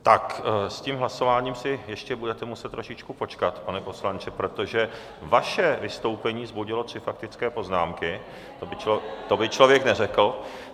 Tak s tím hlasováním si ještě budete muset trošičku počkat, pane poslanče, protože vaše vystoupení vzbudilo tři faktické poznámky, to by člověk neřekl.